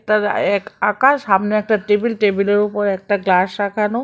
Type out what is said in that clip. এক আঁকা সামনে একটা টেবিল টেবিলের উপর একটা গ্লাস রাখানো